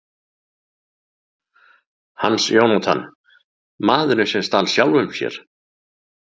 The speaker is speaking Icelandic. Hans Jónatan: Maðurinn sem stal sjálfum sér.